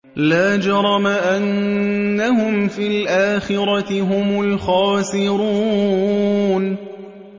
لَا جَرَمَ أَنَّهُمْ فِي الْآخِرَةِ هُمُ الْخَاسِرُونَ